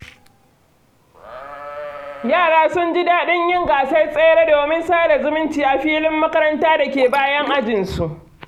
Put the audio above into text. Yara sun ji daɗin yin gasar tsere domin sada zumunci a filin makaranta da ke bayan ajinsu.